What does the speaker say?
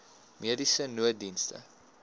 mediese nooddienste